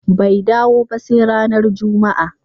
Bai dawo ba sai ranar Juma'a.